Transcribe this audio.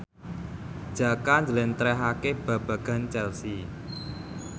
Jaka njlentrehake babagan Chelsea